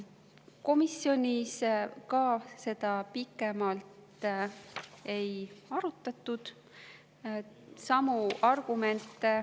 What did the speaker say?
Komisjonis ka seda pikemalt ei arutatud.